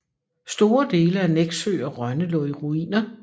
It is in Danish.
Store dele af Nexø og Rønne lå i ruiner